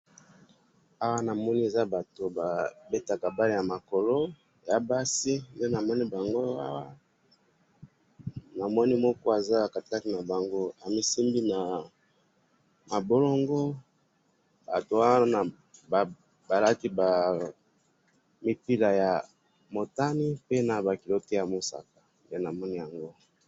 awa namoni eza batu babetaka balle ya makolo ya basi, nde namoni bango awa, namoni moko aza katikati na bango amisimbi na mabolongo, batu wana balati ba mipira ya motani, pe naba culotte ya mosaka